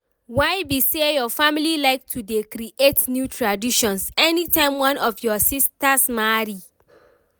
why be say your family like to dey create new traditions any time one of your sistas marry?